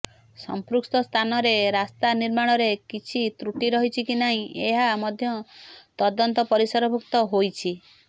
ସଂପୃକ୍ତ ସ୍ଥାନରେ ରାସ୍ତା ନିର୍ମାଣରେ କିଛି ତ୍ରୁଟି ରହିଛି କି ନାହିଁ ଏହା ମଧ୍ୟ ତଦନ୍ତ ପରିସରଭୁକ୍ତ ହୋଇଛି